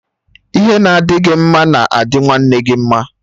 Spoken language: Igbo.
Ihe na adị gị mma na-adi nwanne gị mma